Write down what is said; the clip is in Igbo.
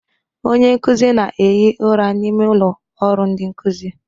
Onye nkuzi na-ehi ụra n'ime ụlọ ọrụ ndi nkuzi.